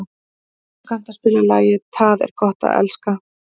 Jónsi, kanntu að spila lagið „Tað er gott at elska“?